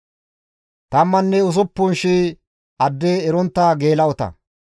tammanne usuppun shii adde erontta geela7ota.